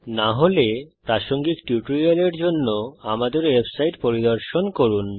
না হলে প্রাসঙ্গিক টিউটোরিয়ালের জন্য আমাদের ওয়েবসাইট পরিদর্শন করুন